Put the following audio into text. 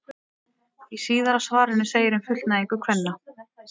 Í síðara svarinu segir um fullnægingu kvenna: